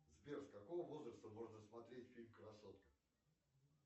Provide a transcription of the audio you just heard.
сбер с какого возраста можно смотреть фильм красотка